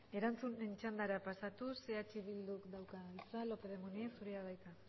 erantzunen txandara pasatuz eh bilduk dauka hitza lópez de munain zurea da hitza